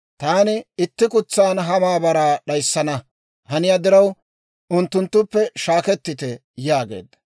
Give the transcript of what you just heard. «Taani itti kutsan ha maabaraa d'ayissana haniyaa diraw, unttunttuppe shaakettite» yaageedda.